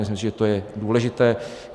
Myslím si, že to je důležité.